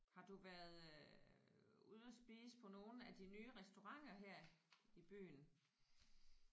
Har du været øh ude at spise på nogle af de nye restauranter her i byen?